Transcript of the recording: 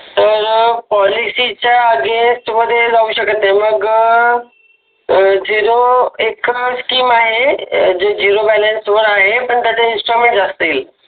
तर पॉलिसिच्या अगेन्स्ट मध्ये जाऊ शकत नाही मग झिरो झिरो बॅलन्स वर आहे पण त्याचे इंस्टॉलमेंट जास्त येईल